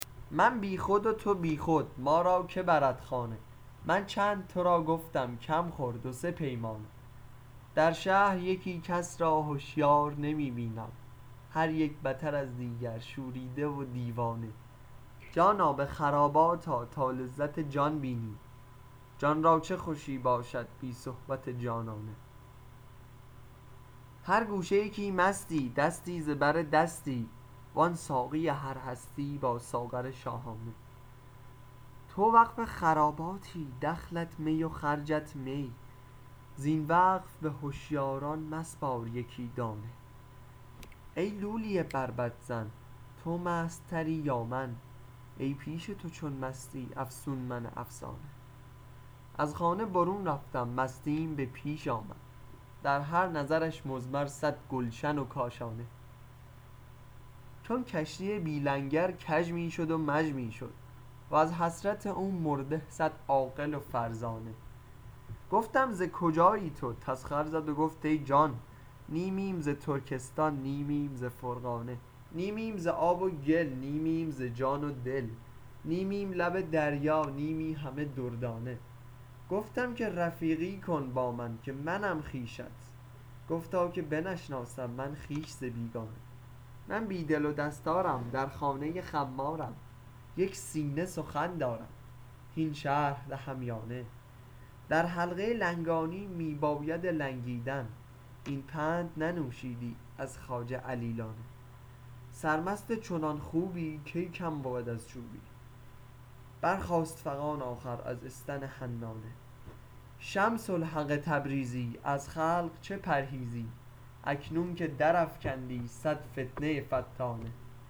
من بی خود و تو بی خود ما را که برد خانه من چند تو را گفتم کم خور دو سه پیمانه در شهر یکی کس را هشیار نمی بینم هر یک بتر از دیگر شوریده و دیوانه جانا به خرابات آ تا لذت جان بینی جان را چه خوشی باشد بی صحبت جانانه هر گوشه یکی مستی دستی ز بر دستی وان ساقی هر هستی با ساغر شاهانه تو وقف خراباتی دخلت می و خرجت می زین وقف به هشیاران مسپار یکی دانه ای لولی بربط زن تو مست تری یا من ای پیش چو تو مستی افسون من افسانه از خانه برون رفتم مستیم به پیش آمد در هر نظرش مضمر صد گلشن و کاشانه چون کشتی بی لنگر کژ می شد و مژ می شد وز حسرت او مرده صد عاقل و فرزانه گفتم ز کجایی تو تسخر زد و گفت ای جان نیمیم ز ترکستان نیمیم ز فرغانه نیمیم ز آب و گل نیمیم ز جان و دل نیمیم لب دریا نیمی همه دردانه گفتم که رفیقی کن با من که منم خویشت گفتا که بنشناسم من خویش ز بیگانه من بی دل و دستارم در خانه خمارم یک سینه سخن دارم هین شرح دهم یا نه در حلقه لنگانی می بایدت لنگیدن این پند ننوشیدی از خواجه علیانه سرمست چنان خوبی کی کم بود از چوبی برخاست فغان آخر از استن حنانه شمس الحق تبریزی از خلق چه پرهیزی اکنون که درافکندی صد فتنه فتانه